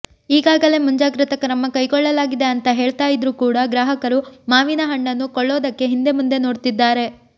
ಈಗಾಗಲೇ ಮುಂಜಾಗೃತ ಕೃಮ ಕೈಗೊಳ್ಳಲಾಗಿದೆ ಅಂತಾ ಹೇಳ್ತಾ ಇದ್ರು ಕೂಡ ಗ್ರಾಹಕರು ಮಾವಿನ ಹಣ್ಣನ್ನು ಕೊಳ್ಳೋದಕ್ಕೆ ಹಿಂದೆ ಮುಂದೆ ನೋಡ್ತಿದಾರೆ